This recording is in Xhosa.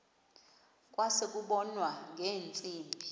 kwase kubonwa ngeentsimbi